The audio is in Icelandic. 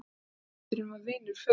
Höfundurinn var vinur föður míns.